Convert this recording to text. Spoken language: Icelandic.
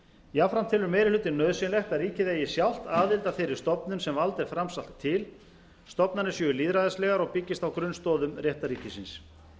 jafnframt telur meiri hlutinn nauðsynlegt að ríkið eigi sjálft aðild að þeirri stofnun sem vald er framselt til stofnanir séu lýðræðislegar og byggist á grunnstoðum réttarríkisins